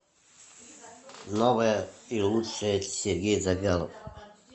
новое и лучшее сергей завьялов